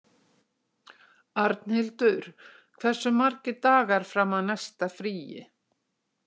Arnhildur, hversu margir dagar fram að næsta fríi?